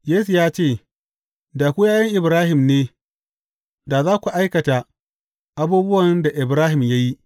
Yesu ya ce, Da ku ’ya’yan Ibrahim ne, da za ku aikata abubuwan da Ibrahim ya yi.